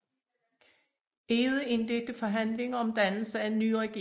Egede indledte forhandlinger om dannelse af en ny regering